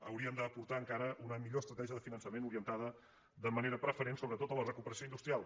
hauríem d’aportar encara una millor estratègia de finançament orientada de manera preferent sobretot a la recupe·ració industrial